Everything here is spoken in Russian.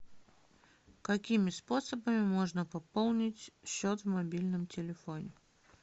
какими способами можно пополнить счет в мобильном телефоне